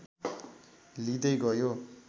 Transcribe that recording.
लिंदै गयो